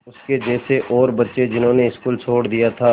उसके जैसे और बच्चे जिन्होंने स्कूल छोड़ दिया था